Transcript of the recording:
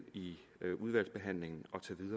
i udvalgsbehandlingen